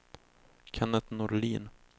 Kennet Norlin